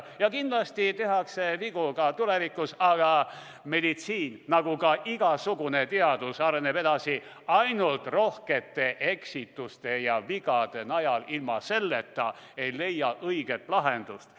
Ja kindlasti tehakse vigu ka tulevikus, aga meditsiin nagu igasugune muu teadus areneb edasi ainult rohkete eksituste ja vigade najal, ilma nendeta ei leia õiget lahendust.